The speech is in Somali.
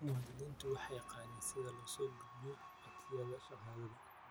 Muwaadiniintu waxay yaqaaniin sida loo soo gudbiyo codsiyada shahaado.